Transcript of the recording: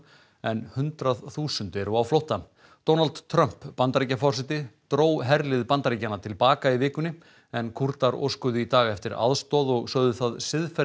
en hundrað þúsund eru á flótta Donald Trump Bandaríkjaforseti dró herlið Bandaríkjanna til baka í vikunni en Kúrdar óskuðu í dag eftir aðstoð og sögðu það